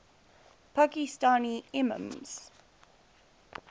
pakistani imams